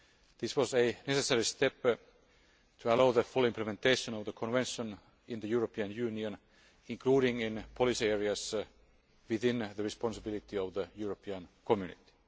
This was a necessary step to allow the full implementation of the Convention in the European Union, including in policy areas within the responsibility of the European Community.